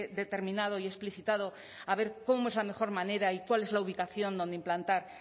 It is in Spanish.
determinado y explicitado a ver cómo es la mejor manera y cuál es la ubicación donde implantar